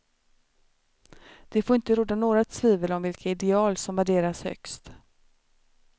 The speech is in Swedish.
Det får inte råda några tvivel om vilka ideal som värderas högst.